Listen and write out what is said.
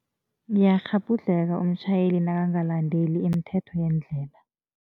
Ngiyakghabhudlheka umtjhayeli nakangalendeli imithetho yendlela.